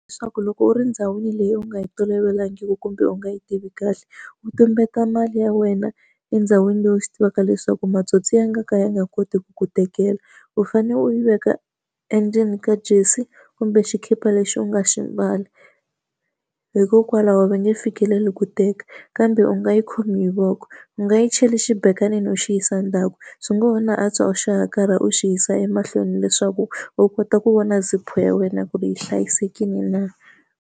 Leswaku loko u ri ndhawini leyi u nga yi tolovelangiki kumbe u nga yi tivi kahle, u tumbeta mali ya wena endhawini leyi u swi tivaka leswaku matsotsi ya nga ka ya nga koti ku ku tekela. U fanele u yi veka endzeni ka jesi kumbe xikipa lexi u nga xi mbala, hikokwalaho va nge fikeleli ku teka. Kambe u nga yi khomi hi voko, u nga yi cheli xibekanini u xi yisa endzhaku, swi ngo ho na antswa u xi hakarha u xi yisa emahlweni leswaku u kota ku vona zip-u ya wena ku ri yi hlayisekile na.